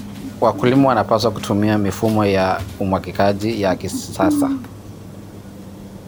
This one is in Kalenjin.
Wakulima wanapaswa kutumia mifumo ya umwagiliaji ya kisasa.